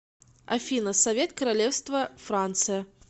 афина совет королевство франция